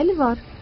Bəli, var.